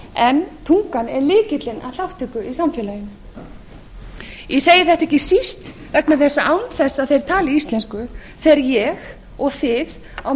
en tungan er lykillinn að þátttöku í samfélaginu ég segi þetta ekki síst vegna þess að án þess að þeir tali íslensku fer ég og þið á